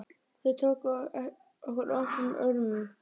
Þau tóku okkur opnum örmum.